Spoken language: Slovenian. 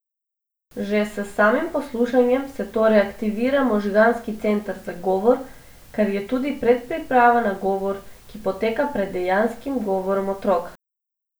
Že s samim poslušanjem se torej aktivira možganski center za govor, kar je tudi predpriprava na govor, ki poteka pred dejanskim govorom otroka.